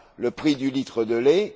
le prix du litre de lait.